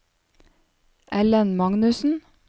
Ellen Magnussen